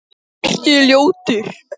Davíð segist vera trúaður maður.